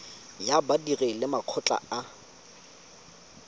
ya badiri le makgotla a